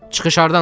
Çıxış hardandır?